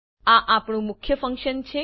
આ આપણું મુખ્ય ફંક્શન છે